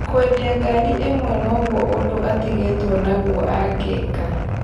Kwendia ngari ĩmwe nogwo ũndũ atigĩtwo naguo angĩika